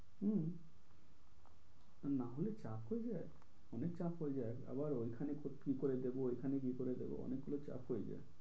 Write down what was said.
হম না হলে চাপ হয়ে যায়। অনেক চাপ হয়ে যায়। আবার ওইখানে কি করে দেবো এখানে কি করে দেব অনেকগুলো চাপ হয়ে যায়।